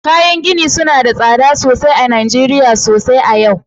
Kayan gini suna da tsada sosai a Najeriya sosai a yau